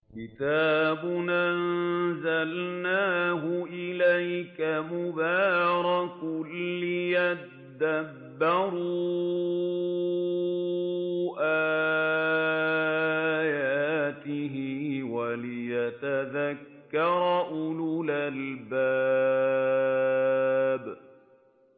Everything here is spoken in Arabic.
كِتَابٌ أَنزَلْنَاهُ إِلَيْكَ مُبَارَكٌ لِّيَدَّبَّرُوا آيَاتِهِ وَلِيَتَذَكَّرَ أُولُو الْأَلْبَابِ